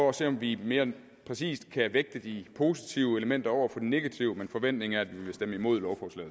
at se om vi mere præcist kan vægte de positive elementer over for de negative men forventningen er at vi vil stemme imod